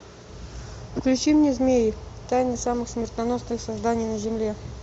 включи мне змеи тайны самых смертоносных созданий на земле